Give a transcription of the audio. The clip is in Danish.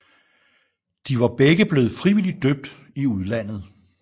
De var begge blevet frivilligt døbt i udlandet